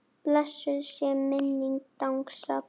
Blessuð sé minning Dengsa bróður.